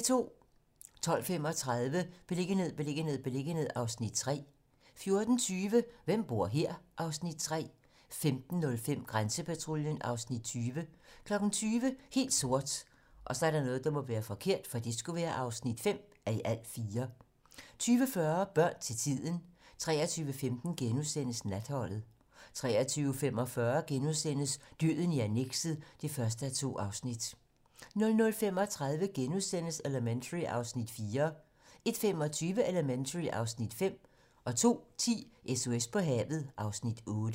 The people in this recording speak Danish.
12:35: Beliggenhed, beliggenhed, beliggenhed (Afs. 3) 14:20: Hvem bor her? (Afs. 3) 15:05: Grænsepatruljen (Afs. 20) 20:00: Helt sort (5:4) 20:40: Børn til tiden 23:15: Natholdet * 23:45: Døden i annekset (1:2)* 00:35: Elementary (Afs. 4)* 01:25: Elementary (Afs. 5) 02:10: SOS på havet (Afs. 8)